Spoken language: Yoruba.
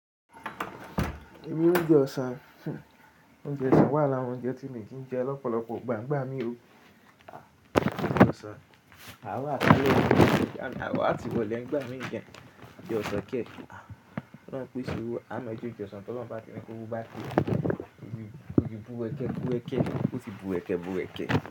Ibi oúnjẹ ọ̀sán, oúnjẹ ọ̀sán wà lára oúnjẹ tí mi ki ń jẹ lọ́pọ̀lọpọ̀ gbàǹgbà mi o. Oúnjẹ ọ̀sán, a wà kalẹ̀, a wà tiwọn lẹ́gbàá mi ìjẹun, jẹ ọ̀sán kẹ́ẹ̀kẹ́. Wọ́n ń pè ṣí i, a mọ̀ ẹ jẹ́ oúnjẹ ọ̀sán tó lọ́ba tí ẹ́ kóró bá kú, ó ti búrẹ́kẹ́ búrẹ́kẹ́, ó ti búrẹ́kẹ́ búrẹ́kẹ́